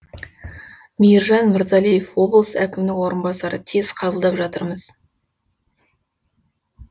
мейіржан мырзалиев облыс әкімінің орынбасары тез қабылдап жатырмыз